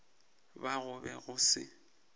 ba go be go se